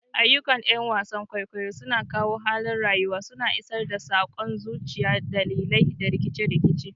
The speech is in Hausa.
Ayyukan 'yan wasan kwaikwayo suna kawo halin rayuwa, suna isar da sakon zuciya, dalilai, da rikice-rikice.